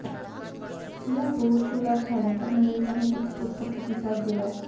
या रोड शोला ठाणेकर नागरिकांनी उत्स्फूर्त प्रतिसाद दिला